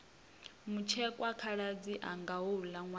mutshekwa khaladzi anga houla nwana